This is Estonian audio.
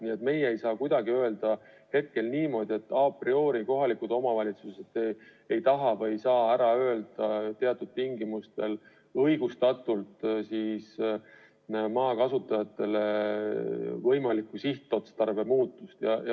Nii et me ei saa kuidagi öelda niimoodi, et a priori kohalikud omavalitsused ei taha või ei saa teatud tingimustel õigustatult ära öelda, kui soovitakse maa kasutamise sihtotstarbe muutmist.